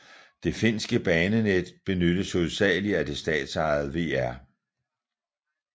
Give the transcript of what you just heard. Det finske banenet benyttes hovedsagelig af det statsejede VR